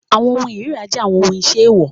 Awọn ohun irira jẹ awọn iṣe eewọ